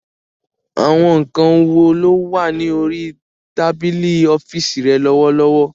Àwọn nǹkan wo ló wà ní orí tábìlì ọ́fíìsì rẹ lọ́wọ́lọ́wọ́